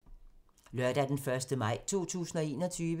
Lørdag d. 1. maj 2021